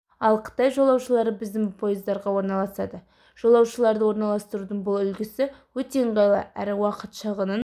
ал қытай жолаушылары біздің пойыздарға орналасады жолаушыларды орналастырудың бұл үлгісі өте ыңғайлы әрі уақыт шығынын